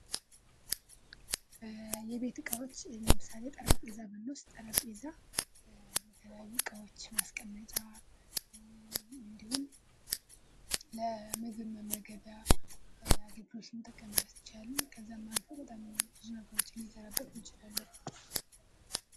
የቤት እቃዎች ለምሳሌ ጠረጴዛን ብንወስድ፤ ጠረጴዛ ለተለያዩ እቃዎች ማስቀመጫ እንዲሁም ለምግብ መመገቢያ አገልግሎት ልንጠቀምበት እንችላለን። ከዛም አልፎ በጣም ብዙ ነገሮች ልንሰራበት እንችላለን።